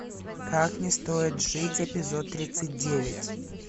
как не стоит жить эпизод тридцать девять